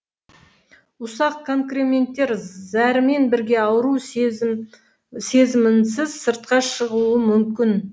ұсақ конкременттер зәрмен бірге ауру сезімінсіз сыртқа шығуы мүмкін